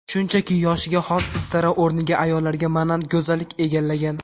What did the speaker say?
Shunchaki, yoshiga xos istara o‘rniga ayollarga monand go‘zallik egallagan.